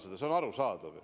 See on arusaadav.